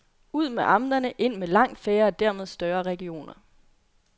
Ud med amterne, ind med langt færre og dermed større regioner.